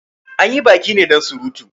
Anyi baki ne dan surutu